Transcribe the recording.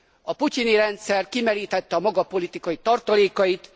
A putyini rendszer kimerítette a maga politikai tartalékait.